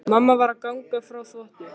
Mamma var að ganga frá þvotti.